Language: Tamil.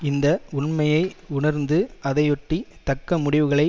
இந்த உண்மையை உணர்ந்து அதையொட்டி தக்க முடிவுகளை